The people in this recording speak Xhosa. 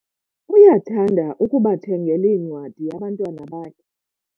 uyathanda ukubathengela iincwadi abantwana bakhe